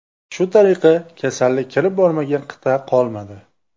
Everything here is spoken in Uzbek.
Shu tariqa kasallik kirib bormagan qit’a qolmadi.